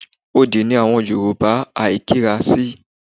Odì ni àwọn Yorùbá àìkíra sí.